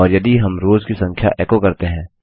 और यदि हम रोव्स की संख्या एको करते हैं